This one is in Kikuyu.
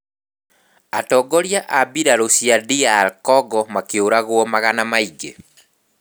Atongoria a mbirarū cia DR Congo makĩũragwo magana maingĩ